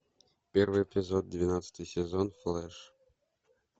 первый эпизод двенадцатый сезон флэш